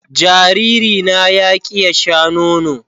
Jariri na ya ƙi ya Sha nono.